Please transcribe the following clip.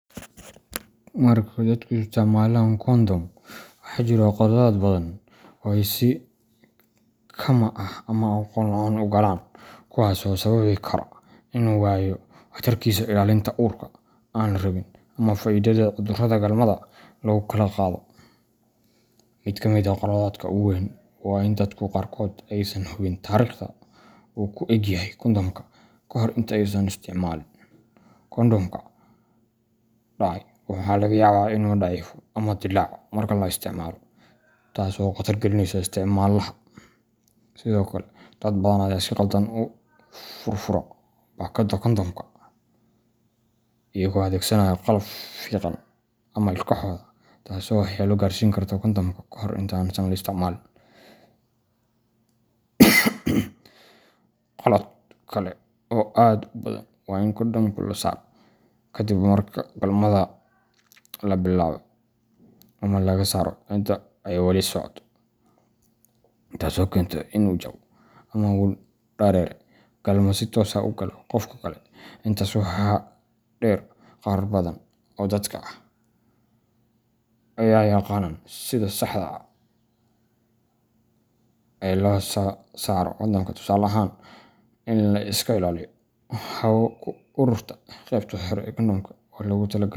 Marka dadku isticmaalaan kondhom, waxaa jira khaladaad badan oo ay si kama’ ah ama aqoon la’aan u galaan, kuwaasoo sababi kara inuu waayo waxtarkiisa ilaalinta uurka aan la rabin ama faafidda cudurrada galmada lagu kala qaado. Mid ka mid ah khaladaadka ugu waaweyn waa in dadka qaarkood aysan hubin taariikhda uu ku eg yahay kondhomka ka hor inta aysan isticmaalin. Kondhomka dhacay waxaa laga yaabaa inuu daciifo ama dilaaco marka la isticmaalo, taas oo khatar gelinaysa isticmaalaha. Sidoo kale, dad badan ayaa si khaldan u furfura baakadda kondhomka, iyagoo adeegsanaya qalab fiiqan ama ilkahooda, taasoo waxyeello gaarsiin karta kondhomka kahor inta aan la isticmaalin. Khalad kale oo aad u badan waa in kondhomka la saaro kadib marka galmada la bilaabay ama laga saaro intii ay weli socoto, taasoo keenta inuu jabo ama uu dareere galmo si toos ah u galo qofka kale. Intaa waxaa dheer, qaar badan oo dad ah ma yaqaanaan sida saxda ah ee loo saaro kondhomka tusaale ahaan, in la iska ilaaliyo hawo ku ururta qeybta sare ee kondhomka oo loogu talagalay.